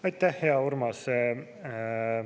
Aitäh, hea Urmas!